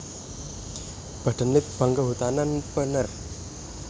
Badan Litbang Kehutanan penerj